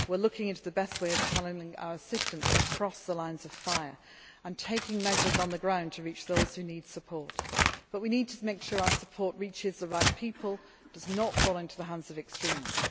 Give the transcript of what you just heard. We are looking into the best way of channelling our assistance across the lines of fire and taking measures on the ground to reach those who need support, although we must also make sure our support reaches the right people and does not fall into the hands of extremists.